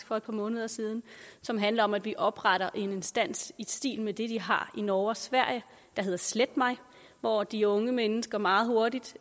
for et par måneder siden som handler om at vi opretter en instans i stil med det de har i norge og sverige der hedder slet mig hvor de unge mennesker meget hurtigt